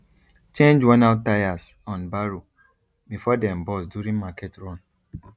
change wornout tyres on barrow before dem burst during market run